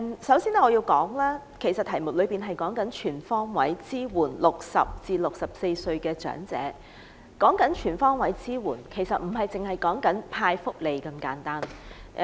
首先，議案題目是"全方位支援60歲至64歲長者"，全方位支援不是派福利這麼簡單。